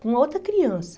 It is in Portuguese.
com outra criança.